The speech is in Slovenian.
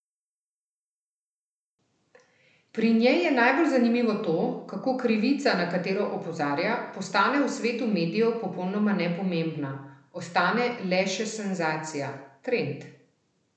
Pri njej je najbolj zanimivo to, kako krivica, na katero opozarja, postane v svetu medijev popolnoma nepomembna, ostane le še senzacija, trend.